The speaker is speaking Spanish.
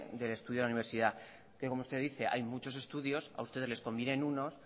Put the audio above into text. del estudio de la universidad que como usted dice hay muchos estudios a ustedes les convienen unos